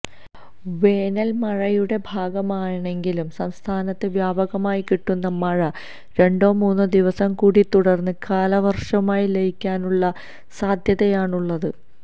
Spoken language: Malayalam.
വേനല്മഴയുടെ ഭാഗമായാണെങ്കിലും സംസ്ഥാനത്ത് വ്യാപകമായി കിട്ടുന്ന മഴ രണ്ടോ മൂന്നോ ദിവസംകൂടി തുടര്ന്ന് കാലവര്ഷവുമായി ലയിക്കാനുള്ള സാധ്യതയാണ് ഉള്ളത്